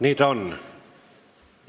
Nii ta on.